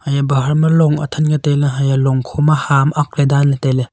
haye baha ma long athan ke tai le haya long kho ma ha am akle dan le tai le.